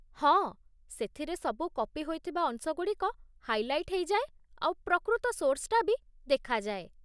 ହଁ, ସେଥିରେ ସବୁ କପି ହୋଇଥିବା ଅଂଶଗୁଡ଼ିକ ହାଇଲାଇଟ୍ ହେଇଯାଏ ଆଉ ପ୍ରକୃତ ସୋର୍ସ୍‌ଟା ବି ଦେଖାଯାଏ ।